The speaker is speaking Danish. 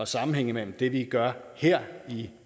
sammenhæng mellem det vi gør her i